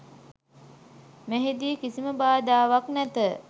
මෙහිදී කිසිම බාධාවක් නැත.